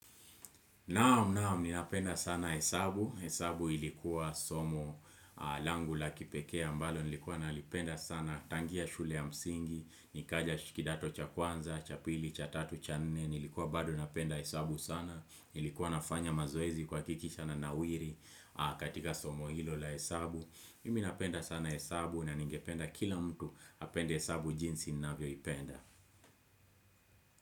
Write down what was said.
Naam naam ninapenda sana hesabu, hesabu ilikuwa somo langu la kipekee ambalo, nilikuwa nalipenda sana tangia shule ya msingi, nikaja kidato cha kwanza, cha pili, cha tatu, cha nne, nilikuwa bado napenda hesabu sana, nilikuwa nafanya mazoezi kuhakikisha nanawiri katika somo hilo la hesabu, mimi napenda sana hesabu na ningependa kila mtu apende hesabu jinsi ninavyoipenda.